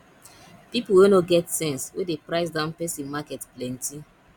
people wey no get sense wey dey price down person market plenty